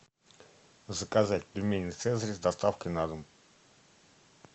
заказать пельмени цезарь с доставкой на дом